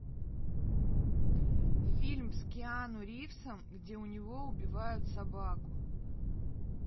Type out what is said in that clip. фильм с киану ривзом где у него убивают собаку